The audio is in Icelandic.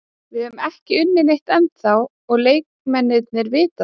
Við höfum ekki unnið neitt ennþá og leikmennirnir vita það.